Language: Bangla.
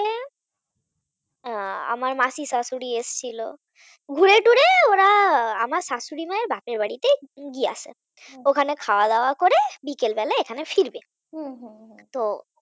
আহ আমার মাসি শাশুড়ি এসেছিল। ঘুরে টুরে ওরা আমার শাশুড়ি মায়ের বাপের বাড়িতেই গিয়াছে। ওখানে খাওয়া দাওয়া করে বিকালবেলায় এখানে ফিরবে। তো হ্যাঁ